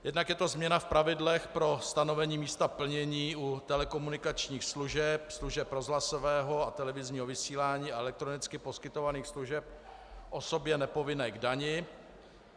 Jednak je to změna v pravidlech pro stanovení místa plnění u telekomunikačních služeb, služeb rozhlasového a televizního vysílání a elektronicky poskytovaných služeb osobě nepovinné k dani.